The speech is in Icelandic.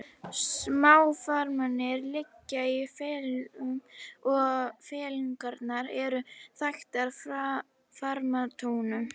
Smáþarmarnir liggja í fellingum og fellingarnar eru þaktar þarmatotum.